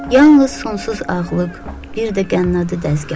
Yalnız sonsuz ağlıq, bir də qənnadı dəzgahı.